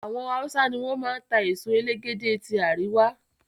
Àwọn hausa ni wọn máa ń ta èso elégédé tí àríwá.